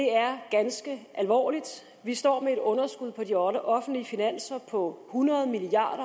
er ganske alvorligt vi står med et underskud på de offentlige finanser på hundrede milliard